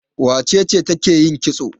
Wace ce take yin kitso?